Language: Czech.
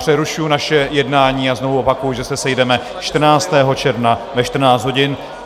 Přerušuji naše jednání a znovu opakuji, že se sejdeme 14. června ve 14 hodin.